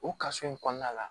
O kaso in kɔnɔna la